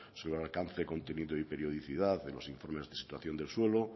sobre el alcance contenido y periodicidad de los informes de situación del suelo